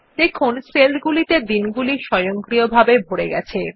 দেখুন সেল গুলিতে দিনগুলি স্বয়ংক্রিয়ভাবে ভরে গেছে